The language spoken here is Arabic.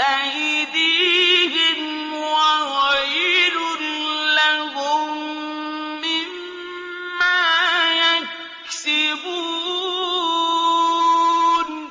أَيْدِيهِمْ وَوَيْلٌ لَّهُم مِّمَّا يَكْسِبُونَ